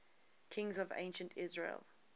kings of ancient israel